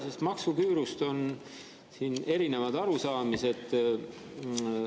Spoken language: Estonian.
Sest maksuküürust on siin erinevad arusaamised.